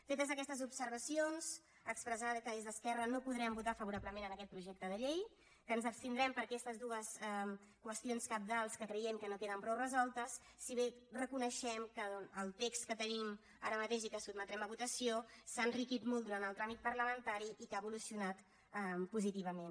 fetes aquestes observacions expressar que des d’esquerra no podrem votar favorablement aquest projecte de llei que ens abstindrem per aquestes dues qüestions cabdals que creiem que no tenen prou resoltes si bé reconeixem que el text que tenim ara mateix i que sotmetrem a votació s’ha enriquit molt durant el tràmit parlamentari i que ha evolucionat positivament